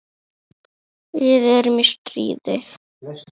Við erum í stríði.